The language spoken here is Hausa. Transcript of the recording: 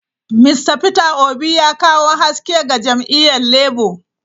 Mista Peter obi ya kawo haske ga jam'iyyar Labour.